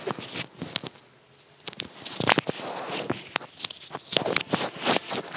উহ